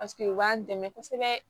Paseke u b'an dɛmɛ kosɛbɛ